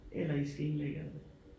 Eller i skal indlægge alle